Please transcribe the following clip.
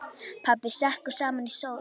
Pabbi sekkur saman í stól.